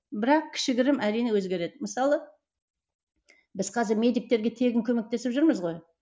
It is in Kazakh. бірақ кішігірім әрине өзгереді мысалы біз қазір медиктерге тегін көмектесіп жүрміз ғой